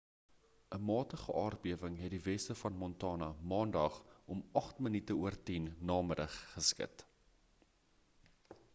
'n matige aardbewing het die weste van montana maandag om 10:08 n.m. geskud